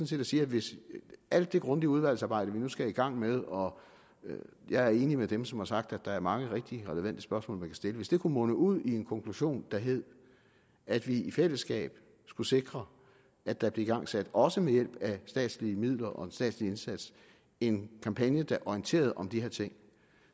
set at sige at hvis alt det grundige udvalgsarbejde vi nu skal i gang med og jeg er enig med dem som har sagt at der er mange rigtig relevante spørgsmål stille kunne munde ud i en konklusion der hed at vi i fællesskab skulle sikre at der blev igangsat også med hjælp af statslige midler og en statslig indsats en kampagne der orienterede om de her ting